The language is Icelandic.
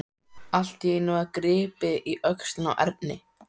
Allt í einu var gripið í öxlina á Erni.